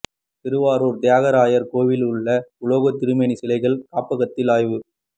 திருவாரூர் தியாகராயர் கோயிலில் உள்ள உலோக திருமேனி சிலைகள் காப்பகத்தில் ஆய்வு